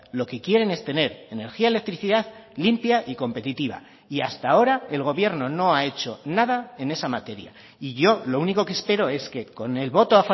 lo que quieren es tener energía electricidad limpia y competitiva y hasta ahora el gobierno no ha hecho nada en esa materia y yo lo único que espero es que con el voto